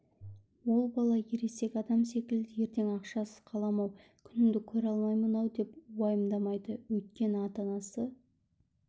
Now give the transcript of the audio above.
ол бала ересек адам секілді ертең ақшасыз қалам-ау күнімді көре алмаймын-ау деп уайымдамайды өйткені ата-анасы